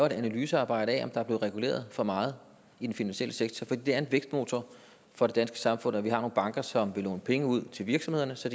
et analysearbejde af om der er blevet reguleret for meget i den finansielle sektor for det er en vækstmotor for det danske samfund at vi har nogle banker som vil låne penge ud til virksomhederne så